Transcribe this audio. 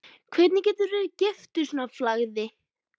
Hvernig geturðu verið giftur svona flagði?